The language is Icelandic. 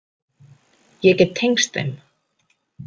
Ég get tengst þeim.